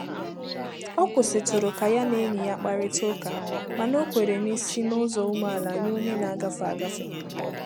Ọ kwụsịtụrụ ka ya na enyi ya kparịta ụka mana o kwèrè n'isi n'ụzọ umeala nye onye na-agafe agafe.